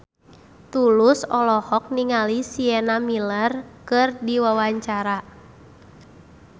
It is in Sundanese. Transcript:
Tulus olohok ningali Sienna Miller keur diwawancara